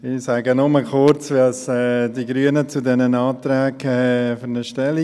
Ich sage nur kurz, wie die Grünen zu diesen Anträgen stehen.